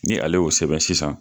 Ni ale y'o sɛbɛn sisan